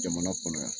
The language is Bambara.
Jamana kɔnɔ yan